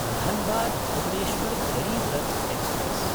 धन्बाद्–भुवनेश्वर् Garib Rath express